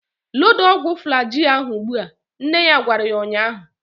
Loda ọgwụ Flajil ahu ụgbụa! Nne ya gwara ya ụnyaahụ